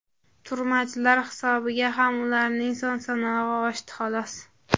turmachilar hisobiga ham ularning son-sanog‘i oshdi, xolos.